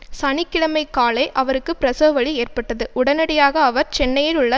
சனி கிழமை காலை அவருக்கு பிரசவவலி ஏற்பட்டது உடனடியாக அவர் சென்னையிலுள்ள